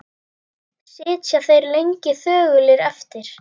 Sitja þeir lengi þögulir eftir.